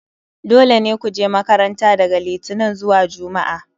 dole ne ku je makarnta daga Litinin zuwa Juma'a